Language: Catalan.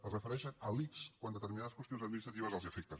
es refereixen a l’ics quan determinades qüestions administratives els afecten